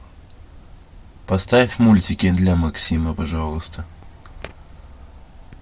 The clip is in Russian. поставь мультики для максима пожалуйста